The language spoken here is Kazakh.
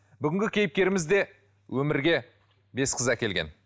бүгінгі кейіпкеріміз де өмірге бес қыз әкелген